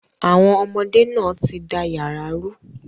Àwọn ọmọdé náà ti da yàrá rú.